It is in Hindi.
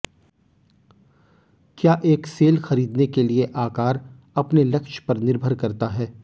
क्या एक सेल खरीदने के लिए आकार अपने लक्ष्य पर निर्भर करता है